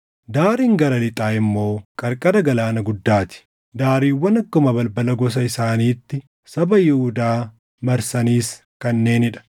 Daariin gara lixaa immoo qarqara Galaana Guddaa ti. Daariiwwan akkuma balbala gosa isaaniitti saba Yihuudaa marsanis kanneenii dha.